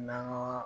N'an ga